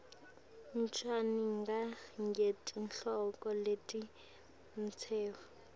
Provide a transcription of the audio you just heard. cwaninga ngetihloko letitsetfwe